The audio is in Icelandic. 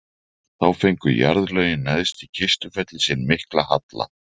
þá fengu jarðlögin neðst í kistufelli sinn mikla halla